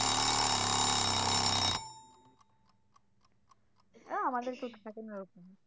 আমাদের কেউ